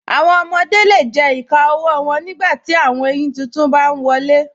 Awọn ọmọde le jẹ ìkà ọwọ wọn nígbàtí awọn èyin títún bá n wọlé.